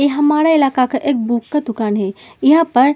इह हमारा इलाका का एक बुक का दुकान है। इहा पर --